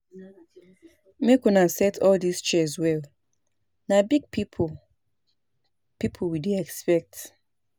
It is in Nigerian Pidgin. Make una set all dis chairs well na big people people we dey expect